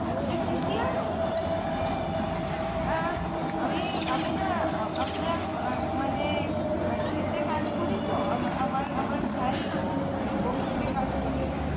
এটা কৃষিআয়ন, আমি না মানে খেটে কাজ করি তো আমার ভাইও ও খেটে কাজ করে